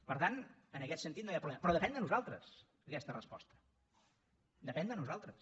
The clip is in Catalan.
per tant en aquest sentit no hi ha problema però depèn de nosaltres aquesta resposta depèn de nosaltres